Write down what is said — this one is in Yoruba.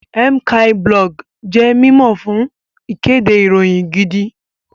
Mciiblog jẹ́ mímọ̀ fún ìkéde ìròyìn gidi